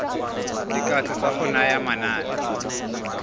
dikatso tsa go naya manane